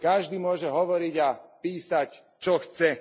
Každý môže hovoriť a písať, čo chce.